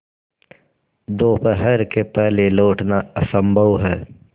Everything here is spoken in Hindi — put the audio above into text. दोपहर के पहले लौटना असंभव है